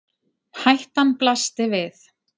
Hættan blasti við